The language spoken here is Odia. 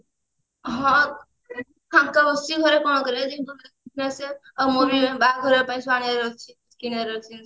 ହଁ ମୁଁ ତ ଫାଙ୍କା ବସିଛି ଘରେ କଣ କରିବି ଆସିବା ଆଉ ମୋର ବି ବାହାଘର ପାଇଁ ସବୁ ଆଣିବାର ଅଛି କିଣିବାର ଅଛି ଜିନିଷ